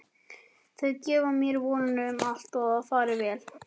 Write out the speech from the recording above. Þau gefa mér vonina um að allt fari vel.